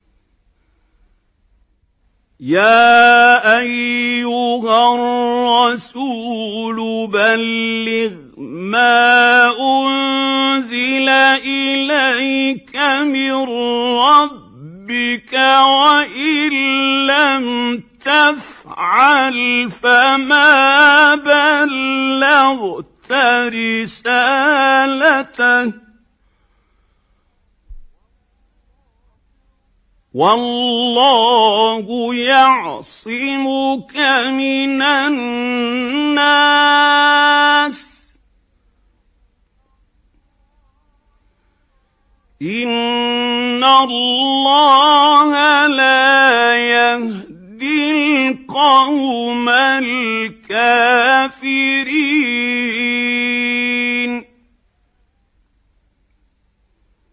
۞ يَا أَيُّهَا الرَّسُولُ بَلِّغْ مَا أُنزِلَ إِلَيْكَ مِن رَّبِّكَ ۖ وَإِن لَّمْ تَفْعَلْ فَمَا بَلَّغْتَ رِسَالَتَهُ ۚ وَاللَّهُ يَعْصِمُكَ مِنَ النَّاسِ ۗ إِنَّ اللَّهَ لَا يَهْدِي الْقَوْمَ الْكَافِرِينَ